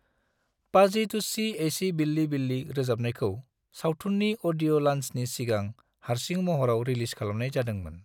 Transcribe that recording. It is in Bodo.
पाजी तुस्सी ऐसी बिल्ली बिल्ली रोजाबनायखौ सावथुननि अडिय' लॉन्चनि सिगां हारसिं महराव रिलीज खालामनाय जादोंमोन।